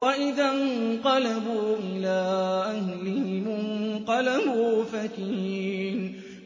وَإِذَا انقَلَبُوا إِلَىٰ أَهْلِهِمُ انقَلَبُوا فَكِهِينَ